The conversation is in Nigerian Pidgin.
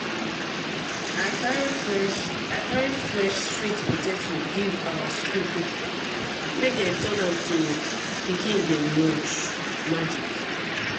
i carry fresh i carry fresh sweet potatoes give our school cook make dem turn am to pikin dem lunch magic.